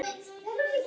Þín Elsa Dóra.